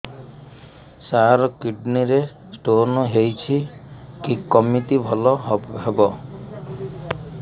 ସାର kidney ରେ stone ହେଇଛି କମିତି ଭଲ ହେବ